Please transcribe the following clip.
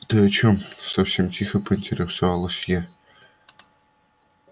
ты о чём совсем тихо поинтересовалась я